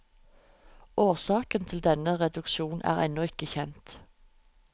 Årsaken til denne reduksjon er ennå ikke kjent.